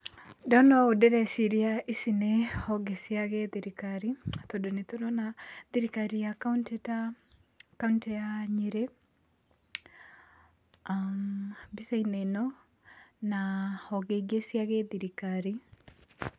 Ndona ũũ ndĩreciria ici nĩ honge cia gĩthirikari tondũ nĩ tũrona thirikari ya kauntĩ ta kauntĩ ya Nyĩrĩ mbica-inĩ ĩno na honge ingĩ cia gĩthirikari.